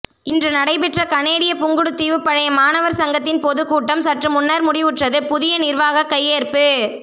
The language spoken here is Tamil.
இன்று நடைபெற்ற கனேடிய புங்குடுதீவு பழைய மாணவர் சங்கத்தின் பொதுக்கூட்டம் சற்று முன்னர் முடிவுற்றது புதிய நிர்வாக கையேற்பு